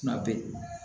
Kuma bɛɛ